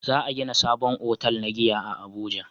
Za a gina sabon otal na giya a abuja